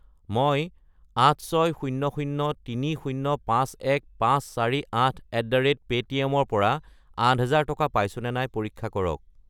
মই 86003051548@paytm ৰ পৰা 8000 টকা পাইছোনে নাই পৰীক্ষা কৰক।